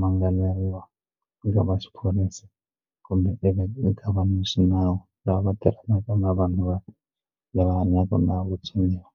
mangaleriwa ni lava xiphorisa kumbe eka va xinawu lava tirhanaka na vanhu va lava na vutsoniwa.